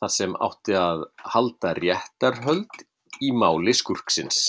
þar sem átti að halda réttarhöld í máli skúrksins.